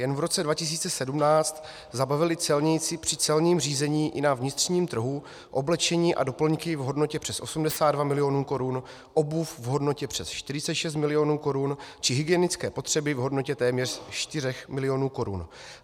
Jen v roce 2017 zabavili celníci při celním řízení i na vnitřním trhu oblečení a doplňky v hodnotě přes 82 milionů korun, obuv v hodnotě přes 46 milionů korun či hygienické potřeby v hodnotě téměř 4 milionů korun.